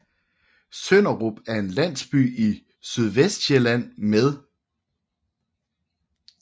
Sønderup er en landsby i Sydvestsjælland med